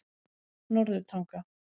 Norðurtanga